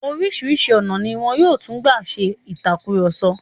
Oríṣìíríṣìí ọ̀nà ni wọn yóò tún máa gbà ṣe ìtàkurọ̀sọ.